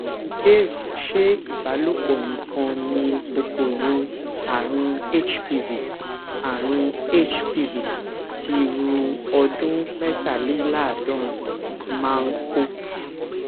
ìbéèrè ṣé ìbálòpò nìkan ni kòkòrò àrùn hpv àrùn hpv ti irú ọdún métàléláàádórin máa ń kó